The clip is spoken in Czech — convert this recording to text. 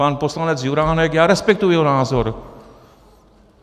Pan poslanec Juránek - já respektuji jeho názor.